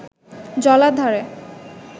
জলার ধারে